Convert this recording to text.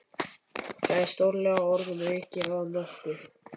Það er stórlega orðum aukið að nokkuð.